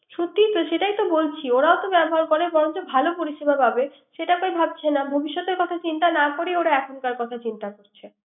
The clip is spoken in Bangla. ঠিক তো, সেটাই তো বলছি। ওরাও তো ব্যবহার করে বরংচো ভালো পরিসেবা পাবে। সেটা কেউ ভাবছে না। ভবিষৎতের কথা চিন্তা না করে ওরা এখনকার কথা চিন্তা করবে।